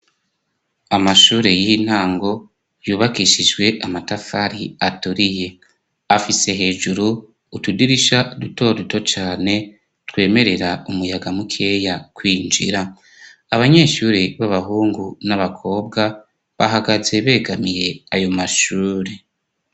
Amashure y'intango yubakishijwe amatafari aturiye ,afise hejuru utudirisha duto duto cane ,twemerera umuyaga mukeya kwinjira, abanyeshuri b'abahungu n'abakobwa bahagaze begamiye ayo mashure.